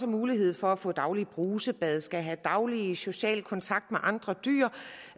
mulighed for at få daglige brusebade skal have daglig social kontakt med andre dyr